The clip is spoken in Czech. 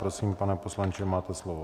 Prosím, pane poslanče, máte slovo.